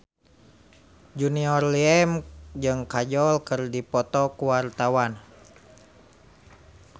Junior Liem jeung Kajol keur dipoto ku wartawan